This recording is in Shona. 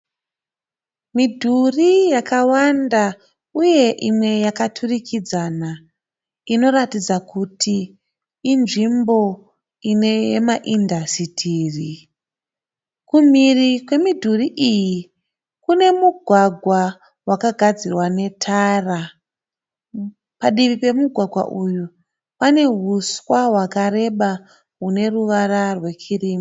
Midhuri yakawanda uye imwe yakaturikidzana inoratidza kuti inzvimbo inemaindasitiri. Kumhiri kwemidhuri iyi kune mugwagwa wakagadzirwa netara. Padivi pemugwagwa uyu, panehuswa hwakareba huneruvara rwekirimu.